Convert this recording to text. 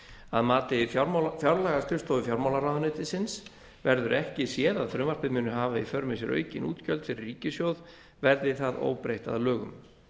að mati fjárlagaskrifstofu fjármálaráðuneytisins verður ekki séð að frumvarpið muni hafa í för með sér aukin útgjöld fyrir ríkissjóð verði það óbreytt að lögum